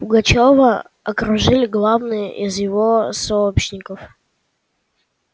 пугачёва окружили главные из его сообщников